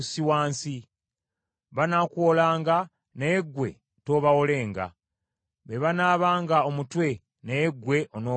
Banaakuwolanga, naye ggwe toobawolenga. Be banaabanga omutwe naye ggwe onoobanga mukira.